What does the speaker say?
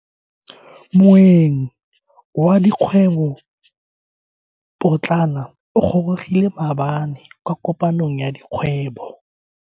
Moeng wa dikgwebo potlana o gorogile maabane kwa kopanong ya dikgwebo.